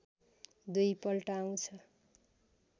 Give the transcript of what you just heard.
दुई पल्ट आउँछ